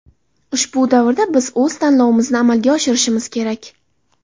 Ushbu davrda biz o‘z tanlovimizni amalga oshirishimiz kerak.